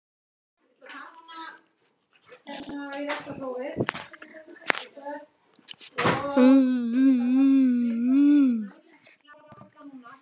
Og hvað finnst henni um þessa reglugerð?